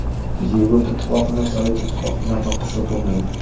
Yevropa Ittifoqini Sovet Ittifoqi bilan taqqoslab bo‘lmaydi.